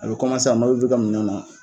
A be a nɔ be bɔ i ka minɛnw na.